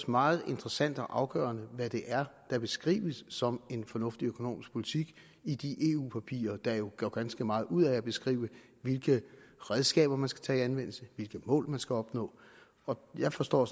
meget interessant og afgørende hvad det er der beskrives som en fornuftig økonomisk politik i de eu papirer der jo gør ganske meget ud af at beskrive hvilke redskaber man skal tage i anvendelse hvilke mål man skal opnå jeg forstår